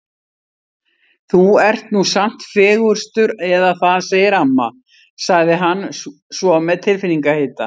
Þú ert nú samt fegurstur eða það segir amma sagði hann svo með tilfinningahita.